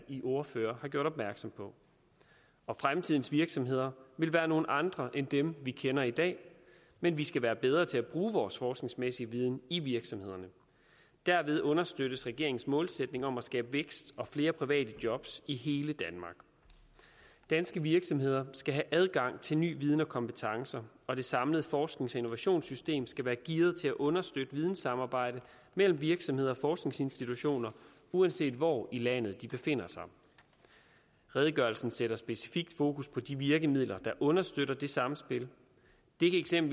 ordførerne har gjort opmærksom på og fremtidens virksomheder vil være nogle andre end dem vi kender i dag men vi skal være bedre til at bruge vores forskningsmæssige viden i virksomhederne derved understøttes regeringens målsætning om at skabe vækst og flere private jobs i hele danmark danske virksomheder skal have adgang til ny viden og kompetencer og det samlede forsknings og innovationssystem skal være gearet til at understøtte videnssamarbejde mellem virksomheder og forskningsinstitutioner uanset hvor i landet de befinder sig redegørelsen sætter specifikt fokus på de virkemidler der understøtter det samspil det kan